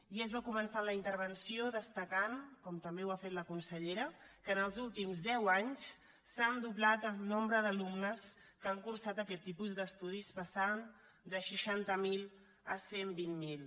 i és bo començar la intervenció destacant com també ha fet la consellera que en els últims deu anys s’ha doblat el nombre d’alumnes que han cursat aquest tipus d’estudis i han passat de seixanta miler a cent i vint miler